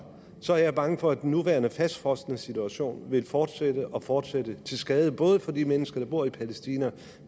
så er jeg bange for at den nuværende fastfrosne situation vil fortsætte og fortsætte til skade både for de mennesker der bor i palæstina og